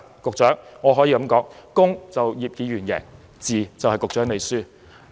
局長，我可以說，"公"是葉議員贏，"字"便是局長輸。